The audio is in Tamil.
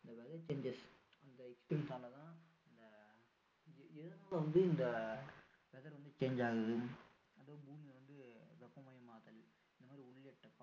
changes அந்த நாலதான் ஆஹ் இந்த எதனால வந்து இந்த weather வந்து change ஆகுது அதுவும் பூமி வந்து வெப்பமயமாகுதல் இந்த மாதிரி உள்ளிட்ட பல